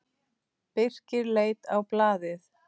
Birkir leit á blaðið.